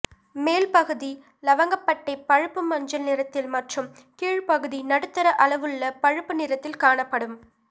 மேல் பகுதி லவங்கப்பட்டை பழுப்பு மஞ்சள் நிறத்தில் மற்றும் கீழ்ப்பகுதி நடுத்தர அளவுள்ள பழுப்பு நிறத்தில் காணப்படும்